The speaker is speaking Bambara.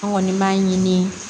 An kɔni b'a ɲini